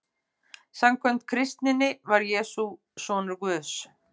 Samkvæmt kristninni var Jesús sonur Guðs.